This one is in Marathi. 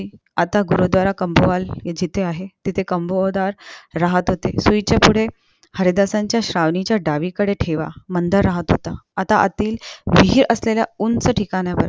आता गुरूद्वाल काम्बोल जिथे आहे तिथे काम्बोधर राहत होते सुई च्या पुढे हरिदाच्या श्रावणीच्या डावीकडेठेला बंदर राहत होता आता अति विहीर असलेला उंच ठिकाण्यावर